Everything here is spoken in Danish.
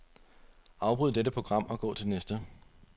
Afbryd dette program og gå til næste.